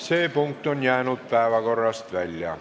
See punkt on jäänud päevakorrast välja.